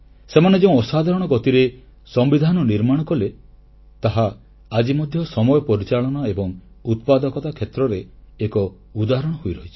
ସେମାନେ ଯେଉଁ ଅସାଧାରଣ ଗତିରେ ସମ୍ବିଧାନ ନିର୍ମାଣ କଲେ ତାହା ଆଜି ମଧ୍ୟ ସମୟ ପରିଚାଳନା ଏବଂ ଉତ୍ପାଦକତା କ୍ଷେତ୍ରରେ ଏକ ଉଦାହରଣ ହୋଇରହିଛି